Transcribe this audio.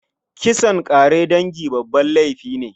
Kisan ƙare dangi babban laifi ne.